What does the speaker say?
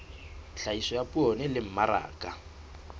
tlhahiso ya poone le mmaraka